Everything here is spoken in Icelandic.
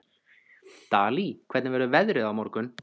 Dalí, hvernig verður veðrið á morgun?